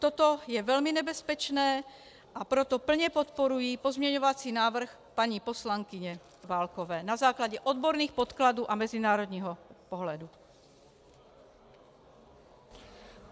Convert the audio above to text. Toto je velmi nebezpečné, a proto plně podporuji pozměňovací návrh paní poslankyně Válkové, na základě odborných podkladů a mezinárodního pohledu.